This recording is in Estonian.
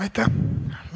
Aitäh!